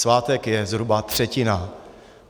Svátek je zhruba třetina.